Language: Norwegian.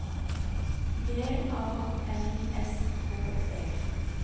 G A N S K E